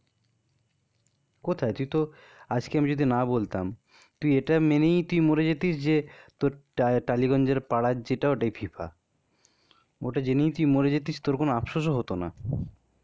কোথায়? তুই তো আজকে আমি যদি না বলতাম, তুই এটাই মেনেই তুই মরে যেতিস. যে, তোর টা টালিগঞ্জের পাড়ার যেটা ওটা FIFA ওটা যেনেই তুই মরে যেতিস তোর কোন আফসোসও হতো না.